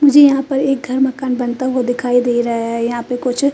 मुझे यहा पर एक घर मकान बनता हुआ दिखाई दे रहा है यहा पे कुछ--